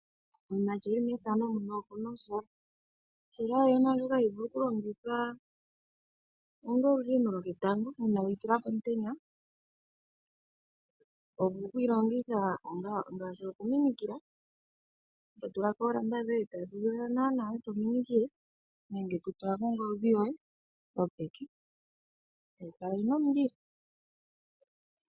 Lilandela oka sola koye opo ka vule oku eta omulilo megumbo hoka to vulu oku tula ongodhi yoye nenge oladio yo muzizimbe.